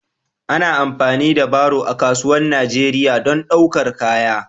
Ana amfani da baro a kasuwan Najeriya don ɗaukar kaya.